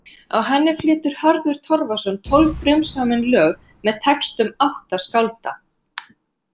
Á henni flytur Hörður Torfason tólf frumsamin lög með textum átta skálda.